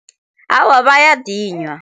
Awa, bayadinywa.